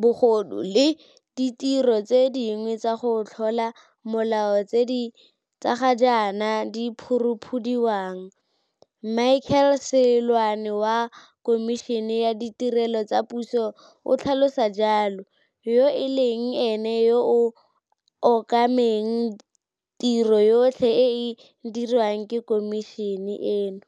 bogodu le ditiro tse dingwe tsa go tlola molao tse ga jaana di phuruphudiwang, Michael Seloane wa Khomišene ya Ditirelo tsa Puso o tlhalosa jalo, yo e leng ene yo a okameng tiro yotlhe e e diriwang ke khomišene eno.